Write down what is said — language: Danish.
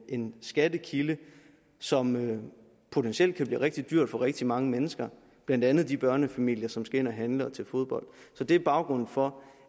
en skattekilde som potentielt kan blive rigtig dyr for rigtig mange mennesker blandt andet de børnefamilier som skal ind at handle og til fodbold så det er baggrunden for